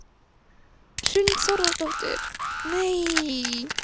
Hrund Þórsdóttir: Hvernig á maður að taka svona fréttum hérna á Íslandi?